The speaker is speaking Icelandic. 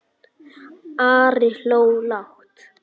Ari hló lágt.